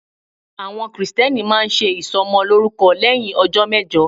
Àwọn Kristẹni máa ń ṣe ìsọmọlórúkọ lẹ́hìn ọjọ́ mẹ́jọ.